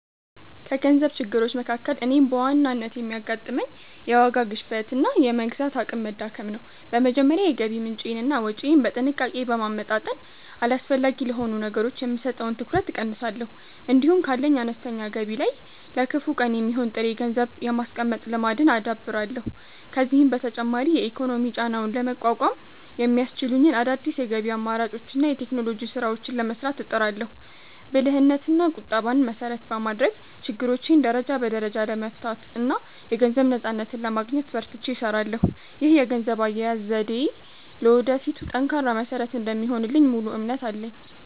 ከገንዘብ ችግሮች መካከል እኔን በዋናነት የሚያጋጥመኝ፣ የዋጋ ግሽበትና የመግዛት አቅም መዳከም ነው። በመጀመሪያ የገቢ ምንጬንና ወጪዬን በጥንቃቄ በማመጣጠን፣ አላስፈላጊ ለሆኑ ነገሮች የምሰጠውን ትኩረት እቀንሳለሁ። እንዲሁም ካለኝ አነስተኛ ገቢ ላይ ለከፋ ቀን የሚሆን ጥሬ ገንዘብ የማስቀመጥ ልማድን አዳብራለሁ። ከዚህም በተጨማሪ የኢኮኖሚ ጫናውን ለመቋቋም የሚያስችሉኝን አዳዲስ የገቢ አማራጮችንና የቴክኖሎጂ ስራዎችን ለመስራት እጥራለሁ። ብልህነትና ቁጠባን መሰረት በማድረግ፣ ችግሮቼን ደረጃ በደረጃ ለመፍታትና የገንዘብ ነፃነትን ለማግኘት በርትቼ እሰራለሁ። ይህ የገንዘብ አያያዝ ዘዴዬ ለወደፊቱ ጠንካራ መሰረት እንደሚሆንልኝ ሙሉ እምነት አለኝ።